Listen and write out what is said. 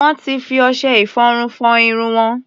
Wọ́n ti fi ọṣẹ-ìfọrun fọ irun wọn.